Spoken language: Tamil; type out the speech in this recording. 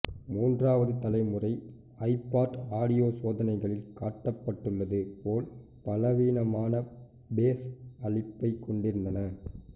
மூன்றாவது தலைமுறை ஐபாட் ஆடியோ சோதனைகளில் காட்டப்பட்டுள்ளது போல் பலவீனமான பேஸ் அளிப்பைக் கொண்டிருந்தன